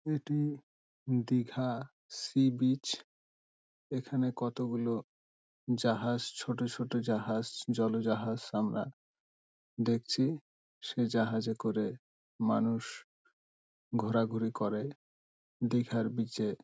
এটি Digha sea beach এখানে কতগুলো জাহাজ ছোট ছোট জাহাজ জল জাহাজ আমরা দেখছি | সে জাহাজে করে মানুষ ঘোরাঘুরি করে দীঘার বিচ -এ |